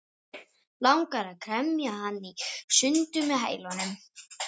Langar að kremja hann í sundur með hælunum.